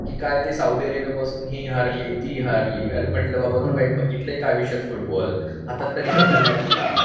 काय ते सौदी अरबपासून हे हारली, ती हारली अरे म्हंटल बाबा तू काही बघितलंय का आयुष्यात फुटबॉल? हातात तरी पकडलायस का?